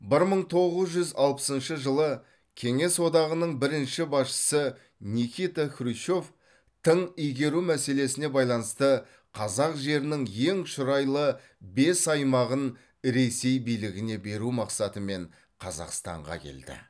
бір мың тоғыз жүз алпысыншы жылы кеңес одағының бірінші басшысы никита хрущев тың игеру мәселесіне байланысты қазақ жерінің ең шұрайлы бес аймағын ресей билігіне беру мақсатымен қазақстанға келді